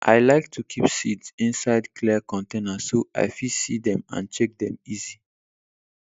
i like to keep seeds inside clear container so i fit see dem and check dem easy